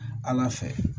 Ala fɛ